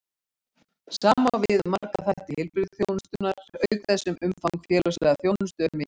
Sama á við um marga þætti heilbrigðisþjónustunnar, auk þess sem umfang félagslegrar þjónustu er mikið.